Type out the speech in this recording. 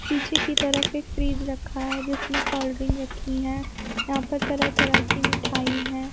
पीछे की तरफ एक फ्रिज रखा है जिसमें कोल्ड ड्रिंक रखी हैं यहाँ पर तरह-तरह की मिठाई हैं।